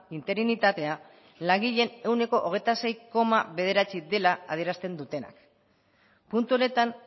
interinitatea langileen ehuneko hogeita sei koma bederatzi dela adierazten dutenak puntu honetan